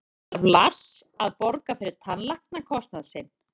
Þarf Lars að borga fyrir tannlæknakostnað sinn?